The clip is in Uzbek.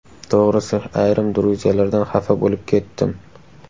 To‘g‘risi, ayrim druzyalardan xafa bo‘lib ketdim.